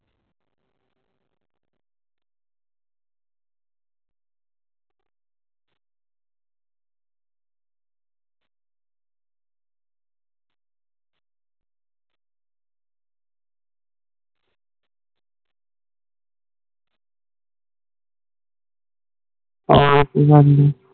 ਆਹ ਇਹ ਤੇ ਗੱਲ